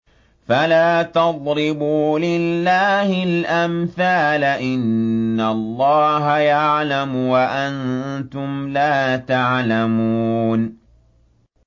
فَلَا تَضْرِبُوا لِلَّهِ الْأَمْثَالَ ۚ إِنَّ اللَّهَ يَعْلَمُ وَأَنتُمْ لَا تَعْلَمُونَ